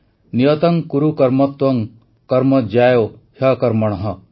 ନିୟତଂ କୁରୁ କର୍ମ ତ୍ୱଂ କର୍ମ ଜ୍ୟାୟୋ ହ୍ୟକର୍ମଣଃ